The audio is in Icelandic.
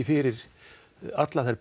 fyrir allar þær